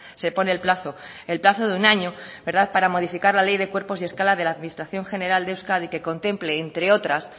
se pone el plazo el plazo de un año para modificar la ley de cuerpos y escala de la administración general de euskadi que contemple entre otras